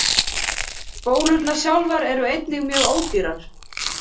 Spólurnar sjálfar eru einnig mjög ódýrar.